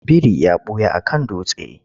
Biri ya ɓuya a kan dutse.